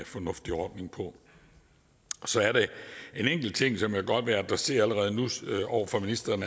fornuftig ordning på så er der en enkelt ting som jeg godt vil adressere over for ministeren